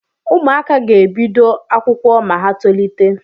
ụmụaka ga-ebido akwụkwọ ma ha tolite